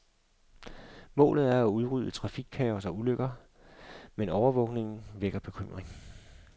Målet er at udrydde trafikkaos og ulykker, men overvågningen vækker bekymring.